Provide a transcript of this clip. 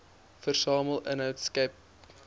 versamel inhoud skep